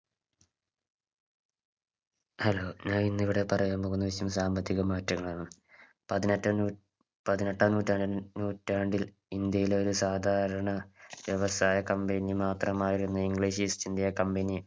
hello ഞാൻ ഇന്ന് ഇവിടെ പറയാൻ പോകുന്ന വിഷയം സാമ്പത്തിക മാറ്റങ്ങളാണ് പതിനെട്ടാം നൂ പതിനെട്ടാം നൂറ്റാണ്ടി നൂറ്റാണ്ടിൽ ഇന്ത്യയിലെ ഒരു സാധാരണ വ്യവസായ company മാത്രമായിരുന്നു English east india company